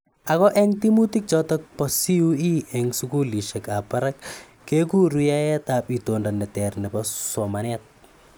Ako eng timutik chutok pa CUE eng sukulishek ap barak kekuru yaeet ab itondo neter nebo soolmanet.